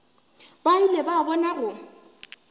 ba ile ba bona go